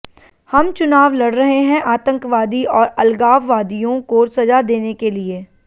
हम चुनाव लड़ रहे हैं आतंकवादी और अलगाववादियों को सजा देने के लिए